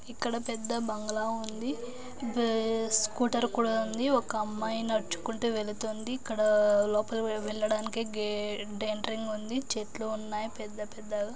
ఇక్కడ పెద్ద బంగ్లా ఉంది. బేస్ స్కూటర్ కూడా ఉంది. ఒక అమ్మాయి నడుచుకుంటూ వెళుతుంది. ఇక్కడా లోపలికి వెళ్లడానికి గేట్ ఎంట్రింగ్ ఉంది. చెట్లు ఉన్నాయి పెద్ద పెద్దగా.